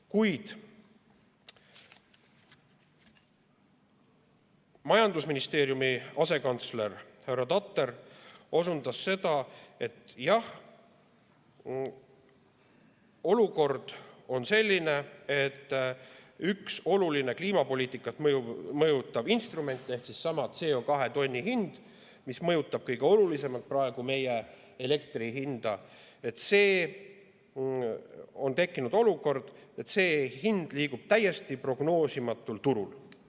Kuid majandusministeeriumi asekantsler härra Tatar osundas, et jah, olukord on selline, et üks olulisi kliimapoliitikat mõjutavaid instrumente ehk seesama CO2 tonni hind, mis mõjutab kõige olulisemalt praegu meie elektri hinda, liigub täiesti prognoosimatul turul.